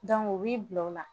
u b'i bila o la